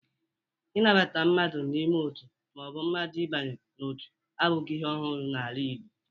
Ịnabata mmadụ n'ime Otu ma o bụ mmadụ ibanye n'otu abụghi ihe ọhụrụ n'ala Igbo